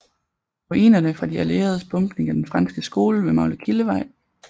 Ruinerne fra de allieredes bombning af den franske skole ved Maglekildevej